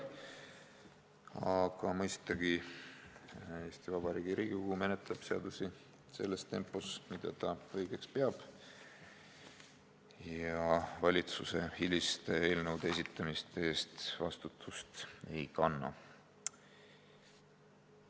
Aga mõistagi menetleb Eesti Vabariigi Riigikogu seadusi sellises tempos, mida ta õigeks peab, ja valitsuse eelnõude esitamise hilinemise eest vastutust ei kanna.